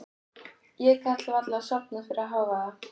Ég gat varla sofnað fyrir hávaða.